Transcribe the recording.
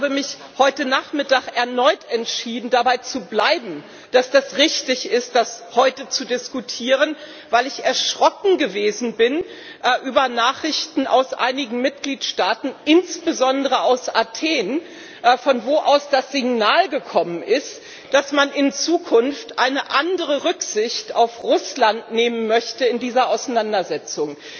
Und ich habe mich heute Nachmittag erneut entschieden, dabei zu bleiben, dass es richtig ist, das heute zu diskutieren, weil ich erschrocken gewesen bin über Nachrichten aus einigen Mitgliedstaaten, insbesondere aus Athen, von wo aus das Signal gekommen ist, dass man in Zukunft eine andere Rücksicht auf Russland nehmen möchte in dieser Auseinandersetzung.